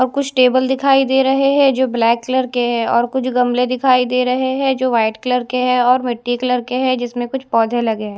और कुछ टेबल दिखाई दे रहे हैं जो ब्लैक कलर के हैं और कुछ गमले दिखाई दे रहे हैं जो वाइट कलर के हैं और मिट्टी कलर के हैं जिसमें कुछ पौधे लगे हैं।